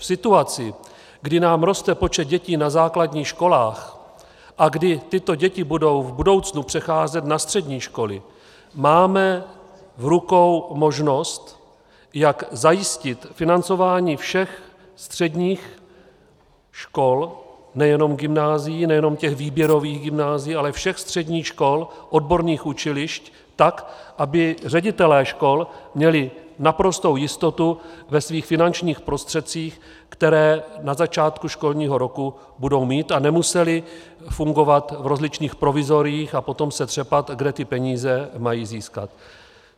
V situaci, kdy nám roste počet dětí na základních školách a kdy tyto děti budou v budoucnu přecházet na střední školy, máme v rukou možnost, jak zajistit financování všech středních škol, nejenom gymnázií, nejenom těch výběrových gymnázií, ale všech středních škol, odborných učilišť, tak, aby ředitelé škol měli naprostou jistotu ve svých finančních prostředcích, které na začátku školního roku budou mít, a nemuseli fungovat v rozličných provizoriích a potom se třepat, kde ty peníze mají získat.